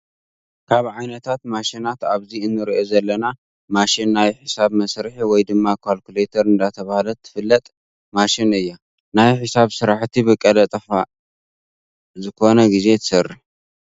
ካብ ዓይነታት ማሽናት ኣብዚ እንሪኣ ዘለና ማሸን ናይ ሒሳብ መስርሒ ወይ ድማ ካልኩሌተር እንዳተባሃለት ትፍለት መሽን እያ። ናይ ሒሳብ ስራሕቲ ብቀልጣፋ ዝኮነ ግዜ ትሰርሕ።